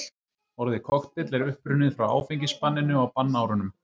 orðið kokteill er upprunnið frá áfengisbanninu á bannárunum